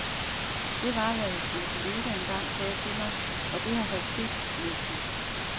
Det var, hvad en kollega engang sagde til mig, og det har holdt stik, næsten.